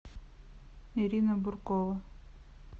ирина буркова